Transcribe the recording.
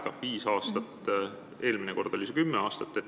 Praegu on viis aastat, eelmine kord oli kümme aastat.